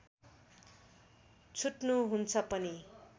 छुट्नु हुन्छ पनि